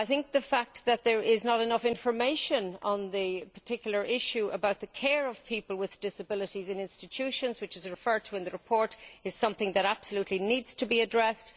The fact that there is not enough information on the particular issue of the care of people with disabilities in institutions, which is referred to in the report, is something that absolutely needs to be addressed.